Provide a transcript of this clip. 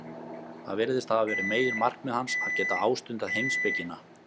Það virðist hafa verið meginmarkmið hans, að geta ástundað heimspekina.